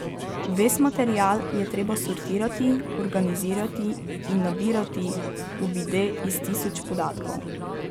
Ves material je treba sortirati, organizirati in nabirati uvide iz tisoč podatkov.